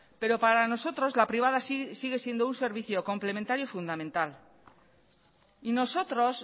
pero para nosotros la privada sigue siendo un servicio complementario y fundamental y nosotros